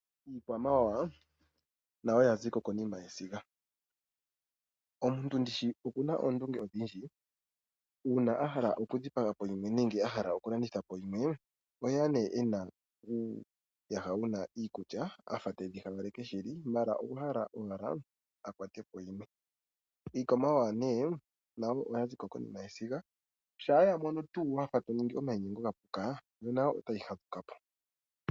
Iikwamawawa nayo yaziko konima yesiga. Omuntu ndishi okuna oondunge odhindji, uuna a hala okudhipaga po yimwe nenge a hala okulanditha po yimwe oheya nee ena uuyaha wuna iikulya afa tedhi hawaleke shili maala okwa hala owala akwatepo yimwe. Iikwamawawa nee nayo oyazi ko konima yesiga shampa yamono tuu wafa toningi omainyengo gapuka yo nayo otayi fadhuka po.